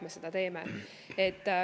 Jah, seda me teeme.